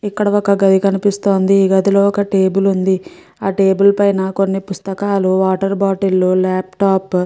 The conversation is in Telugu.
ఇక్కడ ఒక గది కనిపిస్తోంది. ఈ గదిలో ఒక టేబుల్ ఉంది. టేబుల్ పైన కొన్ని పుస్తకాలు వాటర్ బాటిల్ లాప్టాప్ --